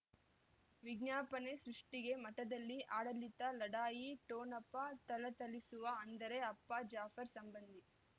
ವಿಜ್ಞಾಪನೆ ಸೃಷ್ಟಿಗೆ ಮಠದಲ್ಲಿ ಆಡಳಿತ ಲಢಾಯಿ ಠೊಣಪ ಥಳಥಳಿಸುವ ಅಂದರೆ ಅಪ್ಪ ಜಾಫರ್ ಸಂಬಂಧಿ